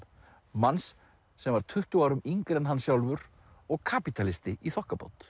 manns sem var tuttugu árum yngri en hann sjálfur og kapítalisti í þokkabót